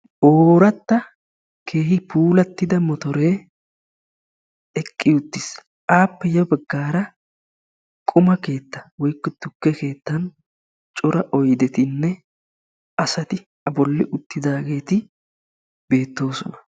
Ooratta keehi puula motoree eqqi uttiis a matan tukke keettayinne quma keettay beetees.